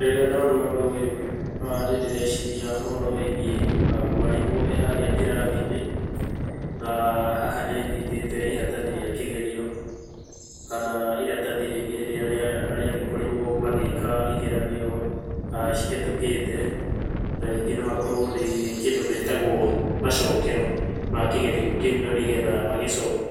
Rĩrĩa ndona ũndũ ũyũ nĩndĩreciria ũhoro wĩgiĩ mwarimũ e harĩa kĩrathi-inĩ, na haha nĩanyitĩte iratathi rĩa kĩgerio, kana iratathi rĩngĩ rĩrĩa rĩagĩkorirwo magĩka igeranio cihĩtũkĩte. Na rĩngĩ no akorwo nĩ kĩndũ metagwo macokero ma kĩgerio kĩu, na nĩgetha